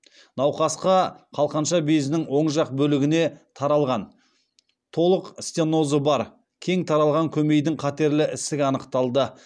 науқаста қалқанша безінің оң жақ бөлігіне таралған толық стенозы бар кең таралған көмейдің қатерлі ісігі анықталды